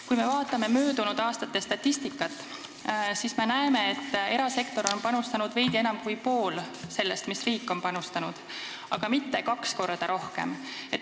Kui me vaatame möödunud aastate statistikat, siis näeme, et erasektor on panustanud veidi enam kui poole sellest, mis on panustanud riik, aga mitte kaks korda rohkem.